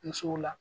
Musow la